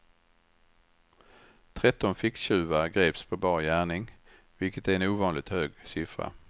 Tretton ficktjuvar greps på bar gärning, vilket är en ovanligt hög siffra.